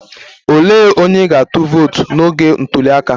Olee onye ị ga-atụ vootu n'oge ntuli aka?